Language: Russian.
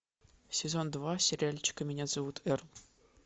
сезон два сериальчика меня зовут эрл